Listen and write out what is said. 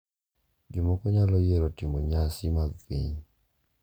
Jomoko nyalo yiero timo nyasi mag piny .